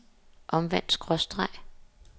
omvendt skråstreg